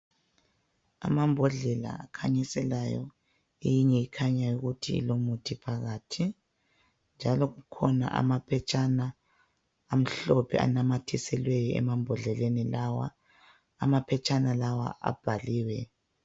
Amambodlela akhanyiselayo eyinye ikhanya ukuthi ilomuthi phakathi njalo kukhona amaphetshana amhlophe anamathiselweyo emambodleleni lawa amaphetshana lawa abhaliwe